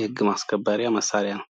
የህግ ማስከበሪያ መሳሪያ ነው።